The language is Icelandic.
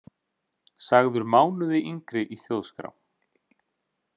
Sagður mánuði yngri í Þjóðskrá